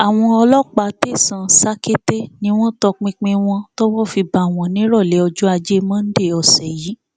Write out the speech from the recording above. àwọn ọlọpàá tẹsán satekete ni wọn tọpinpin wọn tọwọ fi bá wọn nírọlẹ ọjọ ajé monde ọsẹ yìí